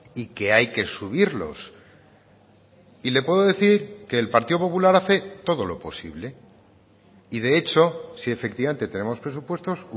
y que hay que subirlos y le puedo decir que el partido popular hace todo lo posible y de hecho si efectivamente tenemos presupuestos